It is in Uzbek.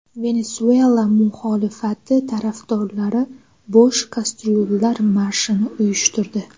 Venesuela muxolifati tarafdorlari bo‘sh kastryullar marshini uyushtirdi.